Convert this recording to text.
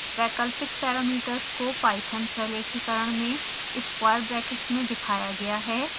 वैकल्पिक पैरामीटर्स को python प्रलेखीकरण में स्क्वायर ब्रैकेट्स में दिखाया गया है